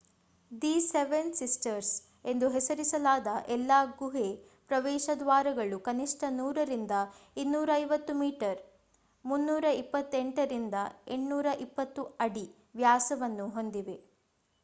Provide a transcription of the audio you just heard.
"the seven sisters ಎಂದು ಹೆಸರಿಸಲಾದ ಎಲ್ಲಾ ಗುಹೆ ಪ್ರವೇಶ ದ್ವಾರಗಳು ಕನಿಷ್ಠ 100 ರಿಂದ 250 ಮೀಟರ್ 328 ರಿಂದ 820 ಅಡಿ ವ್ಯಾಸವನ್ನು ಹೊಂದಿವೆ